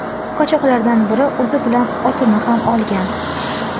Qochoqlardan biri o‘zi bilan otini ham olgan.